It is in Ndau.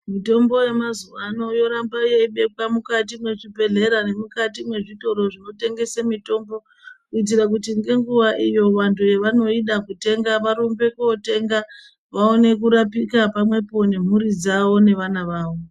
Mitombo yemazuva ano yoramba yeibekwa mukati mwezvibhehlera nemukati mwezvitoro zvinotengesa mitombo kuitira kuti ngenguva iyo vanoida kotenga varumbe kotenga vaonekurapika pamwepo nemhuri dzavo nevana vavo.